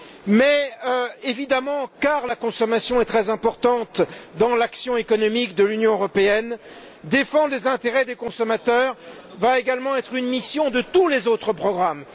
Mais, évidemment, étant donné que, la consommation est très importante dans l'action économique de l'Union européenne, défendre les intérêts des consommateurs va également être une mission de tous les autres programmes.